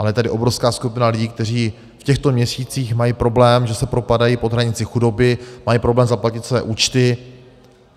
Ale je tady obrovská skupina lidí, kteří v těchto měsících mají problém, že se propadají pod hranici chudoby, mají problém zaplatit své účty.